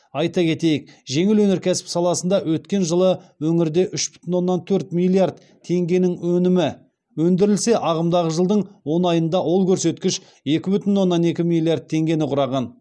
айта кетейік жеңіл өнеркәсіп саласында өткен жылы өңірде үш бүтін оннан төрт миллиард теңгенің өнімі өндірілсе ағымдағы жылдың он айында ол көрсеткіш екі бүтін оннан екі миллиард теңгені құраған